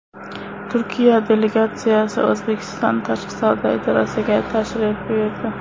Turkiya delegatsiyasi O‘zbekiston tashqi savdo idorasiga tashrif buyurdi.